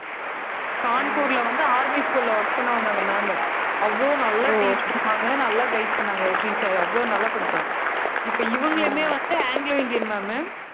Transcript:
கான்பூர்ல வந்து army school ல work பண்ணவங்க அந்த ma'am உ. அவ்ளோ நல்லா teach பண்ணுவாங்க. நல்லா guide பண்ணாங்க ஸ்ரீ சாயி அவ்ளோ நல்லா படிச்சான். இப்ப இவங்களுமே வந்து anglo Indian ma'am உ